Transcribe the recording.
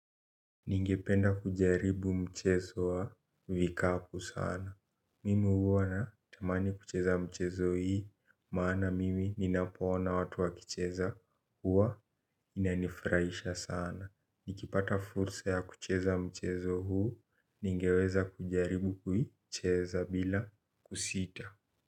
Ningependa kujaribu mchezo wa vikapu sana. Mimi huwa natamani kucheza mchezo hii, maana mimi ninapoona watu wakicheza huwa inanifurahisha sana. Nikipata fursa ya kucheza mchezo huu, ningeweza kujaribu kuicheza bila kusita.